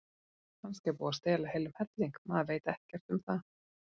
Kannski er búið að stela heilum helling, maður veit ekkert um það.